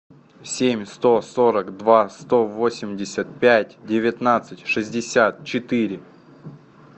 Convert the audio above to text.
семь сто сорок два сто восемьдесят пять девятнадцать шестьдесят четыре